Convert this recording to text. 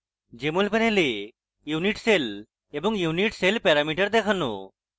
jmol panel unit cell এবং unit cell parameter দেখানো